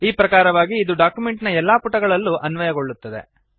ಈ ಪ್ರಕಾರವಾಗಿ ಇದು ಡಾಕ್ಯುಮೆಂಟ್ ನ ಎಲ್ಲಾ ಪುಟಗಳಲ್ಲೂ ಅನ್ವಯಗೊಳ್ಳುತ್ತದೆ